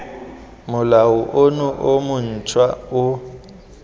molao ono o montšhwa o